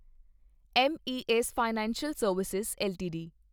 M A S financial service LTD